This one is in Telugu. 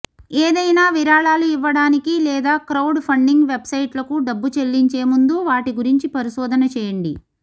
ఏదైనా విరాళాలు ఇవ్వడానికి లేదా క్రౌడ్ ఫండింగ్ వెబ్సైట్లకు డబ్బు చెల్లించే ముందు వాటి గురించి పరిశోధన చేయండి